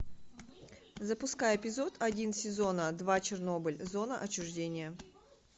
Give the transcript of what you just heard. запускай эпизод один сезона два чернобыль зона отчуждения